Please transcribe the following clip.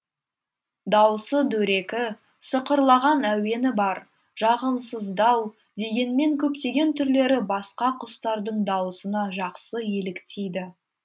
дауысы дөрекі сықырлаған әуені бар жағымсыздау дегенмен көптеген түрлері басқа құстардың дауысына жақсы еліктейді